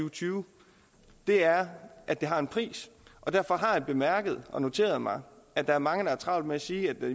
og tyve er at det har en pris og derfor har jeg bemærket og noteret mig at der er mange der har travlt med at sige at